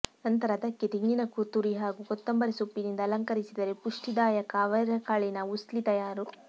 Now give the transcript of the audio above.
ನಂತರ ಅದಕ್ಕೆ ತೆಂಗಿನ ತುರಿ ಹಾಗೂ ಕೊತ್ತಂಬರಿ ಸೊಪ್ಪಿನಿಂದ ಅಲಂಕರಿಸಿದರೆ ಪುಷ್ಟಿದಾಯಕ ಅವರೆಕಾಳಿನ ಉಸ್ಲಿ ತಯಾರು